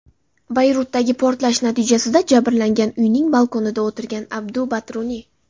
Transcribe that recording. Bayrutdagi portlash natijasida jabrlangan uyining balkonida o‘tirgan Abdu Batruni.